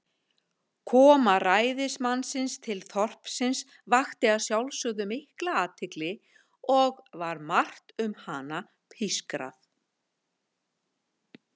Koma ræðismannsins til þorpsins vakti að sjálfsögðu mikla athygli, og var margt um hana pískrað.